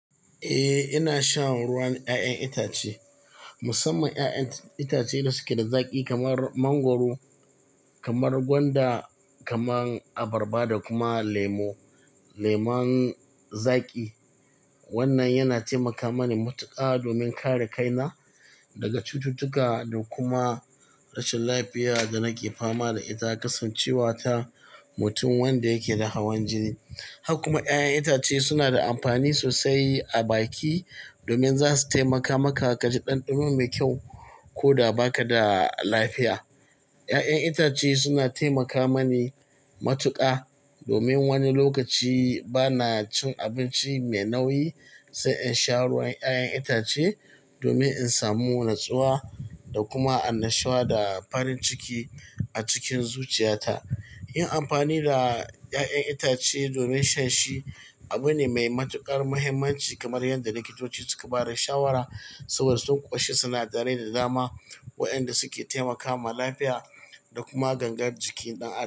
Eh, ina shan ruwan 'ya'yan itace, musamman 'ya'yan itace da suke da zaƙi kamar mangwaro, kamar gwanda, kamar abarba da kuma lemo, leman zaƙi. Wannan yana taimaka mani matuƙa domin kare kaina daga cututtuka da kuma rashin lafiya da nake fama da ita, kasancewa ta mutum wanda yake da hawan jini. Haka kuma 'ya'yan itace suna da amfani sosai a baki domin za su taimaka maka ka ji ɗanɗano mai kyau ko da ba ka da lafiya. 'Ya'yan itace suna taimaka mani matuƙa domin wani lokaci ba na cin abinci mai nauyi, sai in sha ruwan 'ya'yan itace domin in samu natsuwa da kuma annashuwa da farin ciki a cikin zuciyata. Yin amfani da 'ya'yan itace domin shan shi abu ne mai matuƙar muhimmanci kamar yadda likitoci suka ba da shawara saboda sun ƙunshi sinadarai da dama waɗanda suke taimakawa lafiya da kuma gangar jikin ɗan adam.